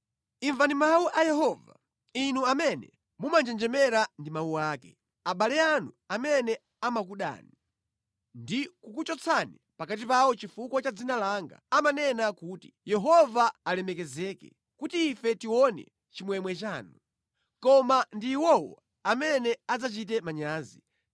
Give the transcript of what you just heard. Imvani mawu a Yehova, inu amene mumanjenjemera ndi mawu ake: “Abale anu amene amakudani, ndi kukuchotsani pakati pawo chifukwa cha dzina langa, amanena kuti, ‘Yehova alemekezeke kuti ife tione chimwemwe chanu!’ Koma ndi iwowo amene adzachite manyazi.